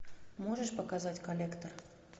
можешь показать коллектор